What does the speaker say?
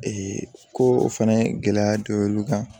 ko o fɛnɛ gɛlɛya dɔ y'olu kan